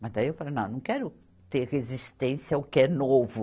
Mas daí eu falei, não, não quero ter resistência ao que é novo.